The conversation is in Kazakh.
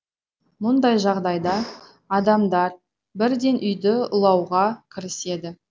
мұндай жағдайда адамдар бірден үйді улауға кіріседі